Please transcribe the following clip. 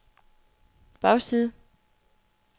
bagside